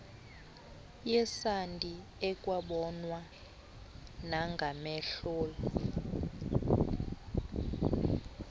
yesandi ekwabonwa nangamehlol